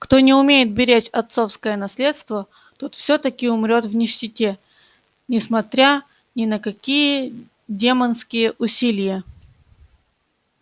кто не умеет беречь отцовское наследство тот всё-таки умрёт в нищете несмотря ни на какие демонские усилия